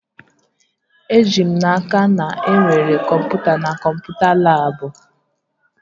Eji m n'aka, na enwere kọmputa na kọmputa labụ